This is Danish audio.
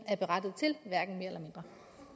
får